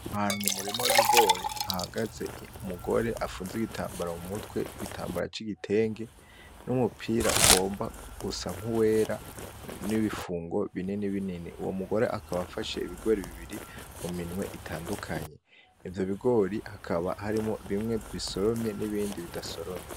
Ahantu mu murima w'ibigori hahagaze umugore afunze igitambara mu mutwe, igitambara c'igitenge; n'umupira ugomba gusa nk'uwera; n'ibifungo binini binini, uwo mugore akaba afashe ibigori bibiri mu minwe itandukanye, ivyo bigori hakaba harimwo bimwe bisoromye n'ibindi bidasoromye.